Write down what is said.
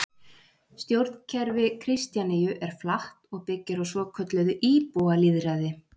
Stjórnkerfi Kristjaníu er flatt og byggir á svokölluðu íbúalýðræði.